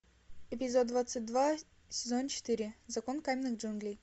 эпизод двадцать два сезон четыре закон каменных джунглей